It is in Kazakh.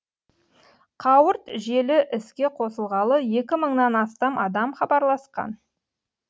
қауырт желі іске қосылғалы екі мыңнан астам адам хабарласқан